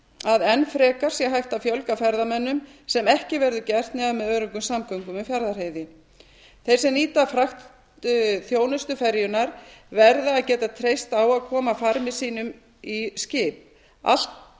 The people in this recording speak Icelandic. að enn frekar sé hægt að fjölga ferðamönnum sem ekki verður gert nema með öruggum samgöngum um fjarðarheiði þeir sem nýta fragtþjónustu ferjunnar verða að geta treyst á að koma farmi sínum í skip allt